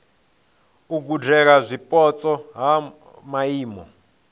u gudela zwipotso ha maimo